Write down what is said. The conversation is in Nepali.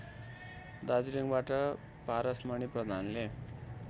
दार्जिलिङबाट पारसमणि प्रधानले